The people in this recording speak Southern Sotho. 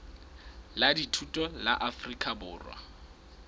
la dithuto la afrika borwa